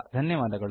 ಧನ್ಯವಾದಗಳು